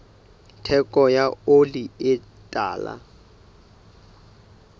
theko ya oli e tala